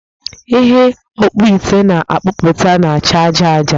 Ihe ọkpụite na-akpụpụta na-acha aja aja